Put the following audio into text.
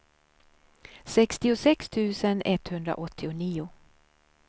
sextiosex tusen etthundraåttionio